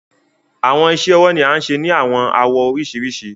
Awọn iṣẹ-ọwọ ni a ń ṣe ni awọn awọ oriṣirisi